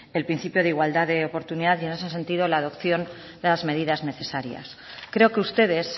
el principio de igualdad de oportunidad y en ese sentido la adopción de las medidas necesarias creo que ustedes